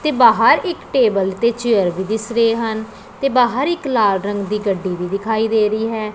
ਤੇ ਬਾਹਰ ਇੱਕ ਟੇਬਲ ਤੇ ਚੇਅਰ ਭੀ ਦਿਸ ਰਹੇ ਹਨ ਤੇ ਬਾਹਰ ਇੱਕ ਲਾਲ ਰੰਗ ਦੀ ਗੱਡੀ ਵੀ ਦਿਖਾਈ ਦੇ ਰਹੀ ਹੈ।